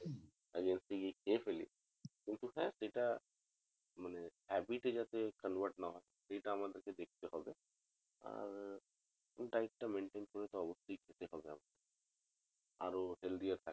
খেয়ে ফেলি সেটা সেটা মানে habit এ যাতে convert না হয় সেটা আমাদেরকে দেখতে হবে আর diet টা maintain করে অবশ্যই খেতে হবে আমাদের আরো healthy